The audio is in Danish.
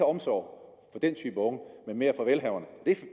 omsorg for den type unge men mere for velhaverne